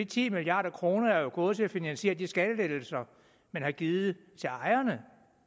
ti milliard kroner er jo gået til at finansiere de skattelettelser man har givet til ejerne